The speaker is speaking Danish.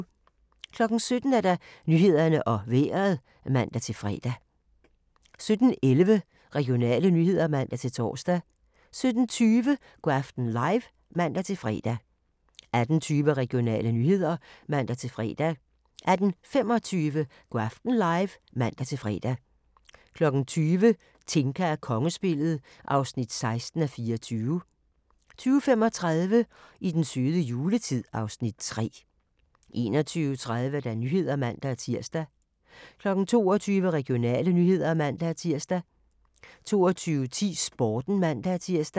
17:00: Nyhederne og Vejret (man-fre) 17:11: Regionale nyheder (man-tor) 17:20: Go' aften live (man-fre) 18:20: Regionale nyheder (man-fre) 18:25: Go' aften live (man-fre) 20:00: Tinka og kongespillet (16:24) 20:35: I den søde juletid (Afs. 3) 21:30: Nyhederne (man-tir) 22:00: Regionale nyheder (man-tir) 22:10: Sporten (man-tir)